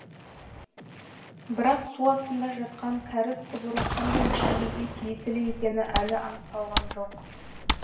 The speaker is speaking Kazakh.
бірақ су астында жатқан кәріз құбыры қандай мекемеге тиесілі екені әлі анықталған жоқ